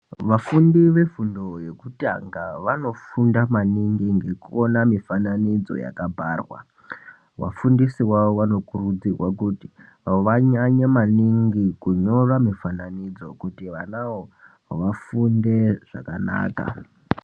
Vafundi vefundo yekutanga vanofunda maningi ngekuona mifananidzo yakabharwa. Vafundisi vavo vanokurudzirwa kuti vanyanye maningi kunyora mifananidzo kuti vanavo vafunde zvakanaka.